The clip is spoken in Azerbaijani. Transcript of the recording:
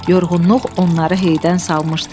Yorğunluq onları heydən salmışdı.